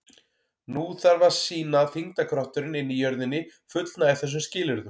Nú þarf að sýna að þyngdarkrafturinn inni í jörðinni fullnægi þessum skilyrðum.